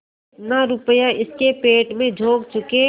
जितना रुपया इसके पेट में झोंक चुके